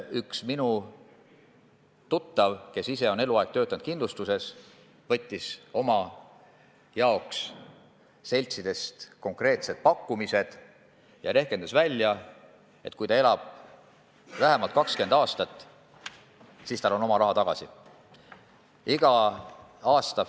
Üks minu tuttav, kes ise on eluaeg kindlustuses töötanud, võttis seltsidest enda jaoks konkreetsed pakkumised ja rehkendas välja, et kui ta elab vähemalt 20 aastat, siis on ta oma raha tagasi saanud.